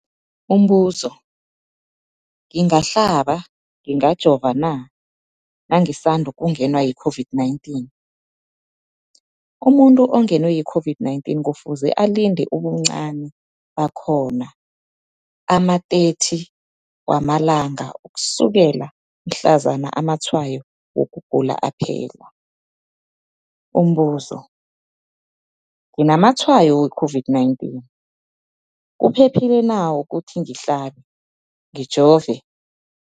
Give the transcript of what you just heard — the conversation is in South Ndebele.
Umbuzo, ngingahlaba, ngingajova na nangisandu kungenwa yi-COVID-19? Umuntu ongenwe yi-COVID-19 kufuze alinde ubuncani bakhona ama-30 wama langa ukusukela mhlazana amatshayo wokugula aphela. Umbuzo, nginamatshayo we-COVID-19, kuphephile na ukuthi ngihlabe, ngijove?